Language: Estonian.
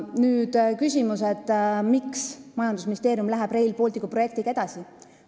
Nüüd küsimus, miks majandusministeerium läheb Rail Balticu projektiga edasi.